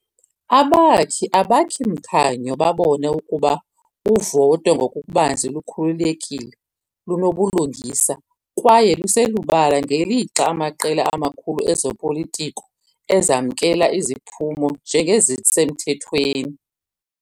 Abakhi-Abakhi-mkhanyo babone ukuba uvoto ngokubanzi lukhululekile, lunobulungisa, kwaye luselubala ngelixa amaqela amakhulu ezopolitiko ezamkela iziphumo njengezisemthethweni.